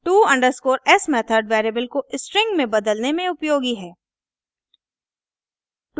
to_s method variable को string string में बदलने में उपयोगी है